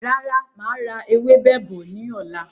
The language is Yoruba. Rárá, máa ra ewébẹ̀ bọ̀ ni ọ̀la.